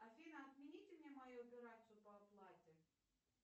афина отмените мне мою операцию по оплате